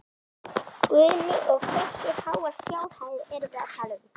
Guðný: Og hversu háar fjárhæðir erum við að tala um?